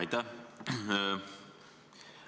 Aitäh!